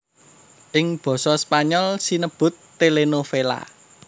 Ing basa Spanyol sinebut télénovela